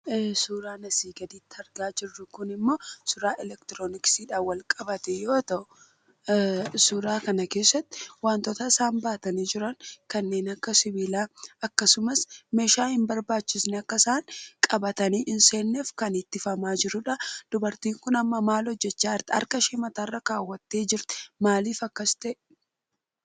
Suuraan asii gaditti argaa jirru kun immoo suuraa 'elektirooniksii'dhaan wal qabate yoo ta'u, suuraa kana keessatti wantoota isaan baatanii jiran, wantoota akka sibiilaa, akkasumas meeshaa hin barbaachifne akka isaan qabatanii hin seenne kan ittifamaa jiruudha. Dubartiin kun amma maal hojjechaa jirti? Harka ishee mataa irra kaawwattee jirti. Maaliif akkas ta'e?